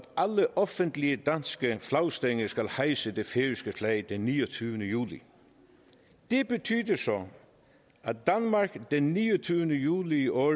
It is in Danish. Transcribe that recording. alle offentlige danske flagstænger skal hejse det færøske flag den niogtyvende juli det betyder så at danmark den niogtyvende juli i år